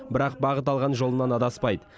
бірақ бағыт алған жолынан адаспайды